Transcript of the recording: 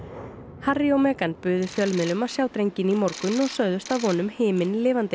Harry og buðu fjölmiðlum að sjá drenginn í morgun og sögðust að vonum himinlifandi